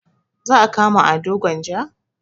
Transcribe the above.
Za a kama ado gwanja?